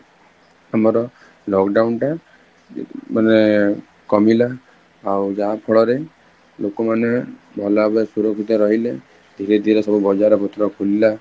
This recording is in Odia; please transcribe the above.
ଆମ lockdown ଟା ମାନେ କମିଲା ଆଉ ଯାହା ଫଳରେ ଲୋକ ମାନେ ଭଲ ଭାବରେ ସୁରକ୍ଷିତ ରହିଲେ, ଧୀରେ ଧୀରେ ସବୁ ବଜାର ପତ୍ର ଖୋଲିଲା